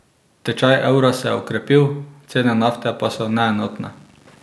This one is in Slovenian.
Tečaj evra se je okrepil, cene nafte pa so neenotne.